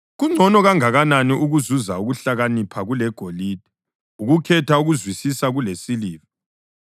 Kungcono kangakanani ukuzuza ukuhlakanipha kulegolide, ukukhetha ukuzwisisa kulesiliva!